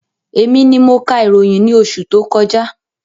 Èmi ni mo ka ìròyìn ní oṣù tó kọjá